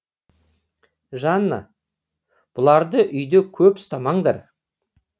жанна бұларды үйде көп ұстамаңдар